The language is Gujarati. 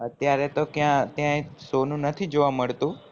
અત્યારે તો ક્યાં ત્યાં સોનું જોવા નથી મળતું